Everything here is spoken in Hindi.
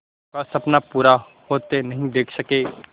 का सपना पूरा होते नहीं देख सके